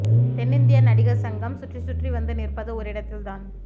தென்னிந்திய நடிகர் சங்கம் சுற்றி சுற்றி வந்து நிற்பது ஒரு இடத்தில் தான்